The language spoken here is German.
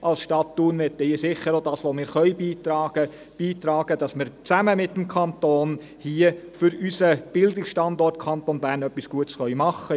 Als Stadt Thun möchten wir hier sicher auch das beitragen, was wir beitragen können, beitragen, damit wir hier zusammen mit dem Kanton für unseren Bildungsstandort Kanton Bern etwas Gutes machen können.